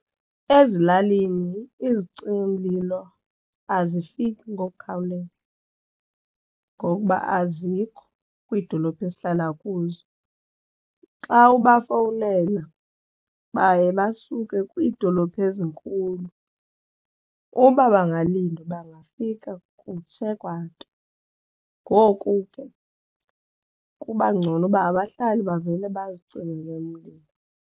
Ezilalini izicimamlilo azifiki ngokukhawuleza ngokuba azikho kwiidolophu esihlala kuzo. Xa ubafowunele baye basuke kwiidolophu ezinkulu uba bangalindwa bangafika kutshe kwanto ngoku ke kuba ngcono uba abahlali bavele bazicimele umlilo.